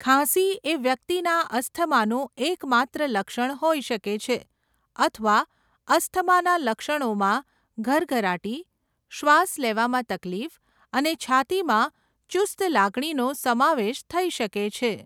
ખાંસી એ વ્યક્તિના અસ્થમાનું એકમાત્ર લક્ષણ હોઈ શકે છે અથવા અસ્થમાના લક્ષણોમાં ઘરઘરાટી, શ્વાસ લેવામાં તકલીફ અને છાતીમાં ચુસ્ત લાગણીનો સમાવેશ થઈ શકે છે.